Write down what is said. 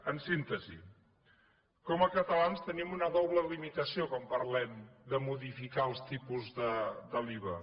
en síntesi com a catalans tenim una doble limitació quan parlem de modificar els tipus de l’iva